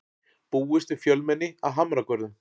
Búist við fjölmenni að Hamragörðum